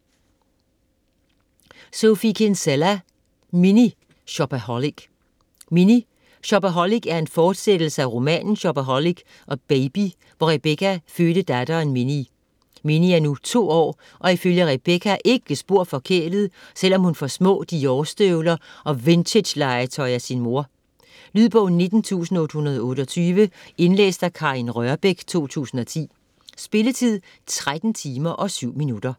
Kinsella, Sophie: Mini shopaholic Mini shopaholic er en fortsættelse af romanen Shopaholic & Baby, hvor Rebecca fødte datteren Minnie. Minnie er nu to år, og ifølge Rebecca ikke spor forkælet, selvom hun får små Dior-støvler og vintagelegetøj af sin mor. Lydbog 19828 Indlæst af Karin Rørbech, 2010. Spilletid: 13 timer, 7 minutter.